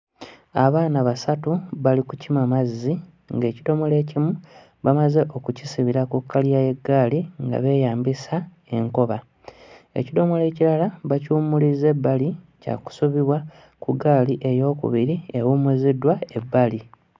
Abaana basatu bali kukima mazzi ng'ekidomola ekimu bamaze okukisibira ku kkaliya y'eggaali nga beeyambisa enkoba ekidomola ekirala bakiwummulizza ebbali kyakusubibwa ku ggaali eyookubiri ewummuziddwa ebbali.